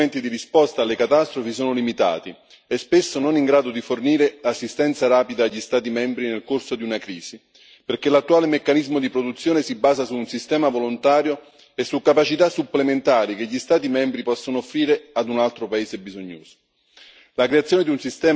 A fronte di ciò gli attuali strumenti di risposta alle catastrofi sono limitati e spesso non in grado di fornire assistenza rapida agli Stati membri nel corso di una crisi, perché l'attuale meccanismo di produzione si basa su un sistema volontario e su capacità supplementari che gli Stati membri possono offrire ad un altro paese bisognoso.